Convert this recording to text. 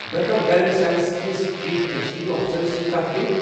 بہٕ ہٮ۪کا Gilead Sciences کِس چیف ایٚگزیکٹو افسرس سۭتۍ کتھ کٔرِتھ ۔